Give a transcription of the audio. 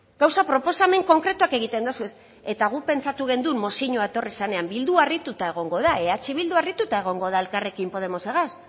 gauzak proposamen konkretuak egiten dozuez eta guk pentsatu genuen mozioa etorri zenean bildu harrituta egongo da eh bildu harrituta egongo da elkarrekin podemosegaz